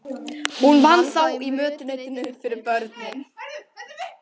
Hún vann þá í mötuneytinu fyrir börnin.